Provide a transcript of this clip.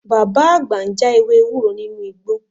Bàbá àgbà ń já ewé ewúro nínú igbó